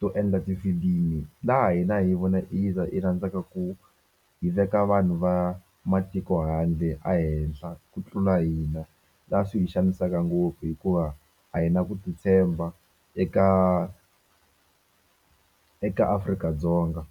to endla tifilimi laha hina hi vone hi za hi rhandzaka ku hi veka vanhu va matiko handle a henhla ku tlula hina la swi hi xanisaka ngopfu hikuva a hi na ku titshemba eka eka Afrika-Dzonga.